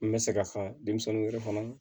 N bɛ se k'a fɔ denmisɛnninw yɛrɛ kɔnɔ